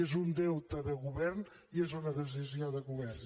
és un deute de govern i és una decisió de govern